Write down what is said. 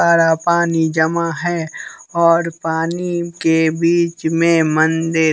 सारा पानी जमा है और पानी के बीच में मंदिर--